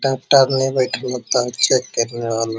Doctor ने बैठले ता चेक करने वाला।